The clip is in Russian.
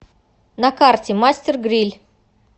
на карте мастер гриль